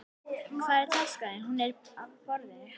Hvar er taskan þín? Hún er á borðinu.